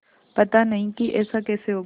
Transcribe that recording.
पता नहीं कि ऐसा कैसे होगा